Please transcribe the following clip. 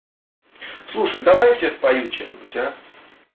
слушай давай я тебе спою что-нибудь а